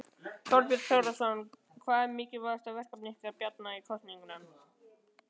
Þorbjörn Þórðarson: Hvað verður mikilvægasta verkefni ykkar Bjarna í kosningunum?